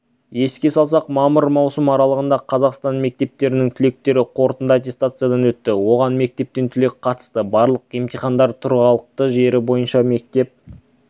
еске салсақ мамыр маусым аралығында қазақстан мектептерінің түлектері қорытынды аттестациядан өтті оған мектептен түлек қатысты барлық емтихандар тұрғылықты жері бойынша мектеп